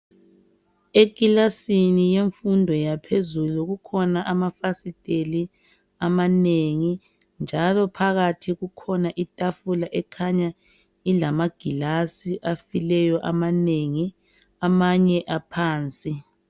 Ekilasini yemfundo yaphezulu kukhona amafasiteli amanengi njalo phakathi kukhona itafula ekhanya ilama gilasi afileyo amaneni amanye aphansi.